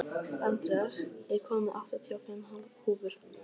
Andreas, ég kom með áttatíu og fimm húfur!